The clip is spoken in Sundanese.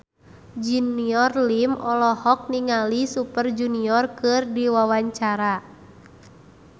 Junior Liem olohok ningali Super Junior keur diwawancara